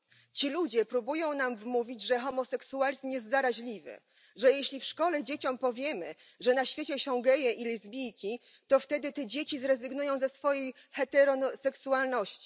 Ci ludzie próbują nam wmówić, że homoseksualizm jest zaraźliwy, że jeśli w szkole dzieciom powiemy, że na świecie są geje i lesbijki, to wtedy te dzieci zrezygnują ze swojej heteroseksualności.